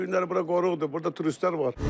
Bu günləri bura qoruqdur, burda turistlər var.